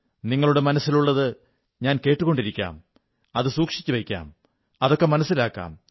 നിങ്ങളുടെ മനസ്സിലുള്ളത് ഞാൻ കേട്ടുകൊണ്ടിരിക്കാം അത് സൂക്ഷിച്ചുവയ്ക്കാം അതൊക്കെ മനസ്സിലാക്കാം